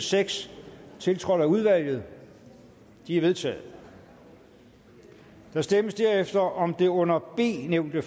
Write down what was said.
seks tiltrådt af udvalget de er vedtaget der stemmes derefter om det under b nævnte